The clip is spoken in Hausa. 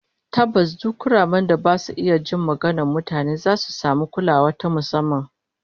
Tabbas, duk kuramen da ba su iya jin maganar mutane zasu samu kulawa ta musamman